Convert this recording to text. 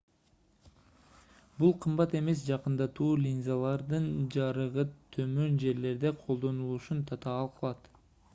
бул кымбат эмес жакындатуу линзалардын жарыгы төмөн жерлерде колдонулушун татаал кылат